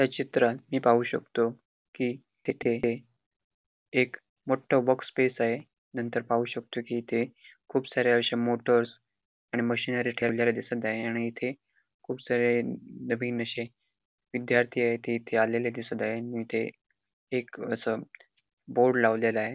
या चित्रात मी पाहू शकतो की तेथे हे एक मोठं बॉक्स स्पेस आहे नंतर पाहू शकतो की इथे खूप साऱ्या अशा मोटर्स आणि मशनरी ठेवलेल्या दिसत आहे आणि इथे खूप सारे नवीन असे विद्यार्थी ते येथे आलेले दिसत आहे इथे एक असं बोर्ड लावलेल आहे.